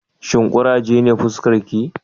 Shin kuraje ne fuskarki?